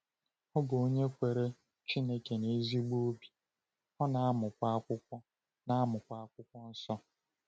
Ọ bụ onye kwere Chineke n’ezigbo obi, ọ na-amụkwa Akwụkwọ na-amụkwa Akwụkwọ Nsọ.